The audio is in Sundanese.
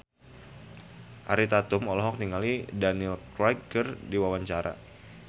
Ariel Tatum olohok ningali Daniel Craig keur diwawancara